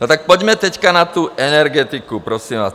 No tak pojďme teď na tu energetiku prosím vás.